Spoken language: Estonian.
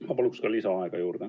Ma palun lisaaega!